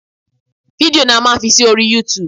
Fídíò ni a máa fi sí orí Youtube